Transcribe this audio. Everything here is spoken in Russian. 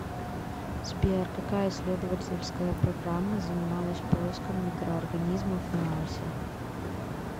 сбер какая исследовательская программа занималась поиском микроорганизмов на марсе